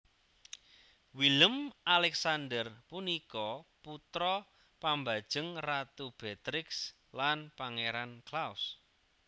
Willem Alexander punika putra pambajeng Ratu Beatrix lan Pangeran Claus